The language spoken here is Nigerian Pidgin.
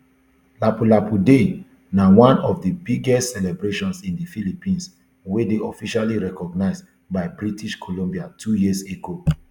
lapu lapu day na one of di biggest celebrations in di philippines wey dey officially recognised by british columbia two years ago